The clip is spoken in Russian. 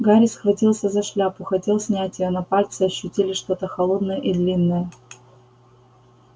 гарри схватился за шляпу хотел снять её но пальцы ощутили что-то холодное и длинное